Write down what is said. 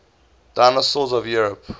dinosaurs of europe